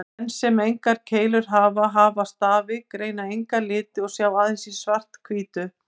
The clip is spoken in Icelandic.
Menn sem engar keilur hafa, aðeins stafi, greina enga liti og sjá aðeins í svart-hvítu.